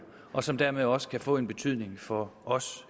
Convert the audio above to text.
og som dermed også kan få en betydning for os